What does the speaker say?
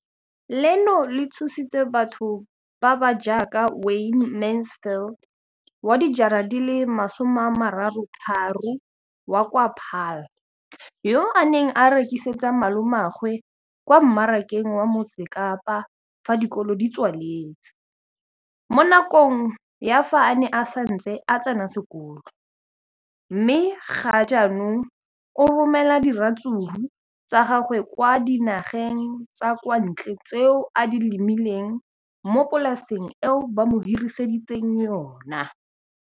leno le thusitse batho ba ba jaaka Wayne Mansfield, 33, wa kwa Paarl, yo a neng a rekisetsa malomagwe kwa Marakeng wa Motsekapa fa dikolo di tswaletse, mo nakong ya fa a ne a santse a tsena sekolo, mme ga jaanong o romela diratsuru tsa gagwe kwa dinageng tsa kwa ntle tseo a di lemileng mo polaseng eo ba mo hiriseditseng yona.